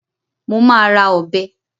Mo ma ra ọbẹ̀